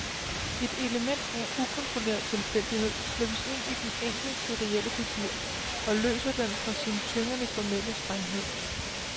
Et element af ukontrolleret tilfældighed slippes ind i den enkle serielle figur og løsner den fra sin tyngende formelle strenghed.